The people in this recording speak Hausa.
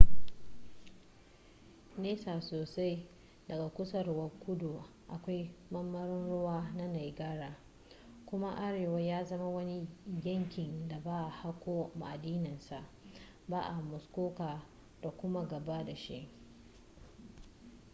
nesa sosai daga kusurwar kudu akwai marmaron ruwa na niagara kuma arewa ya zama wani yankin da ba a hako ma'adinansa ba a muskoka da kuma gaba da shi